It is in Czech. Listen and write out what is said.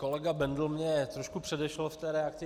Kolega Bendl mě trošku předešel v té reakci.